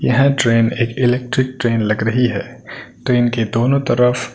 यहां ट्रेन एक electric train लग रही है तो इनके दोनों तरफ--